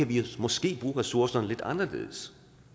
vi måske kan bruge ressourcerne lidt anderledes